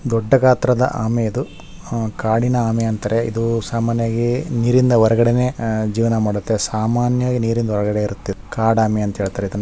ದೊಡ್ಡ ಗಾತ್ರದ ಆಮೆ ಇದು ಅಹ್ ಕಾಡಿನ ಆಮೆ ಅಂತಾರೆ ಇದು ಸಾಮಾನ್ಯವಾಗಿ ನೀರಿನ ಹೊರಗಡೆನೇ ಅಹ್ ಜೀವನ ಮಾಡುತ್ತೆ ಸಾಮಾನ್ಯವಾಗಿ ನೀರಿನ ಹೊರಗಡೆ ಇರುತ್ತೆ ಇದು ಕಾಡು ಆಮೆ ಅಂತಾ ಹೇಳ್ತಾರೆ ಇದನ್ನ.